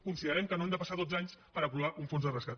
considerem que no han de passar dotze anys per aprovar un fons de rescat